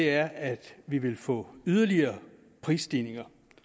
er at vi vil få yderligere prisstigninger